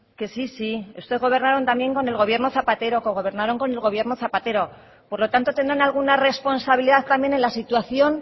que sí sí ustedes gobernaron también con el gobierno zapatero cogobernaron con el gobierno zapatero por lo tanto tendrán alguna responsabilidad también en la situación